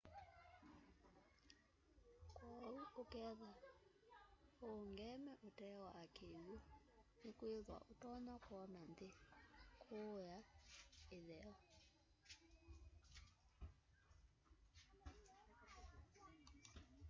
kwoou ukethwa uungeme utee wa kiw'u nikwithwa utonya kwona nthi kuua itheo